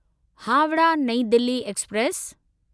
Howrah New Delhi express